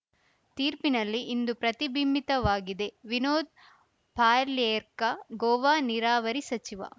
ತೀರ್ಪಿನಲ್ಲಿ ಇದು ಪ್ರತಿಬಿಂಬಿತವಾಗಿದೆ ವಿನೋದ್‌ ಪಾರ್ಲ್ಯಾರ್ಕಾ ಗೋವಾ ನೀರಾವರಿ ಸಚಿವ